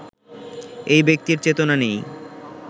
এই ব্যক্তির চেতনা নেই